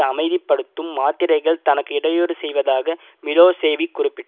அமைதிப்படுத்தும் மாத்திரைகள் தனக்கு இடையூறு செய்வதாக மிலோசேவிக் குறிப்பிட்